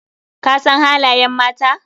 Ka san halayen mata?